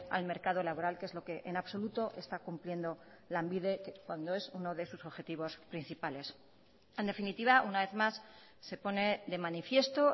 al mercado laboral que es lo que en absoluto está cumpliendo lanbide cuando es uno de sus objetivos principales en definitiva una vez más se pone de manifiesto